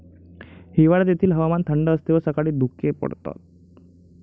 हिवाळ्यात येथील हवामान थंड असते व सकाळी धुके पडते.